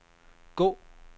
gå